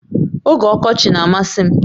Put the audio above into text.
Oge ọkọchị na-amasị m